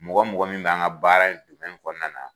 Mɔgɔ mɔgɔ min bɛ an ka baara in kɔnɔna na